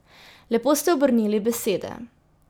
Lepo ste obrnili besede.